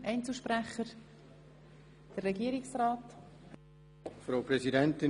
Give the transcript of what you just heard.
Das Wort hat Herr Regierungsrat Käser.